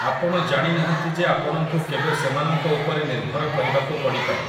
ଆପଣ ଜାଣି ନାହାଁନ୍ତି ଯେ ଆପଣଙ୍କୁ କେବେ ସେମାନଙ୍କ ଉପରେ ନିର୍ଭର କରିବାକୁ ପଡ଼ିପାରେ ।